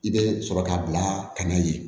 I bɛ sɔrɔ k'a bila ka na ye